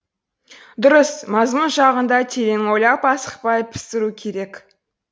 дұрыс мазмұн жағын да терең ойлап асықпай пісіру керек